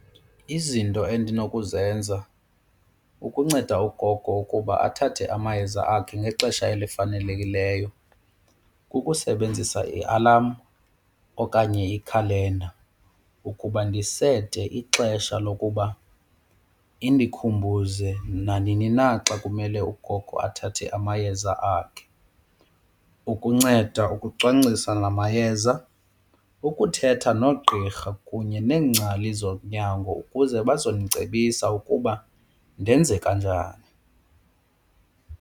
Izinto endinokuzenza ukunceda ugogo ukuba athathe amayeza akhe ngexesha elifanelekileyo kukusebenzisa i-alarm okanye ikhalenda ukuba ndisete ixesha lokuba indikhumbuze nanini na xa kumele ugogo athathe amayeza akhe ukunceda ukucwangcisa ngamayeza, ukuthetha noogqirha kunye neengcali zonyango ukuze bazondicebisa ukuba ndenze kanjani.